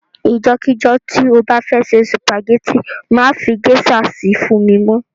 Ijọ́ kíjọ́ to bá fẹ́ se sùpàgẹ́tì má fi géṣà si fún mi mọ́.